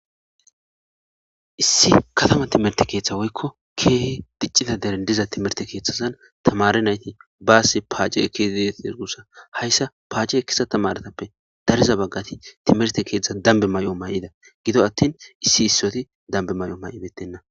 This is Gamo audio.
Issi katama timmirte keththa woykko kehi diccida deren diza timmirte keththazan tamare nayti basi pacce ekidi detes gussa hayssa pacce ekiza tamaretape dariza bagati timmirte keththa damibe mayo mayida giddo attin issi issoti damibe mayo mayibetena.